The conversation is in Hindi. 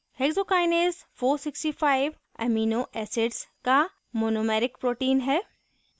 hexokinase 465 amino acids का monomeric protein है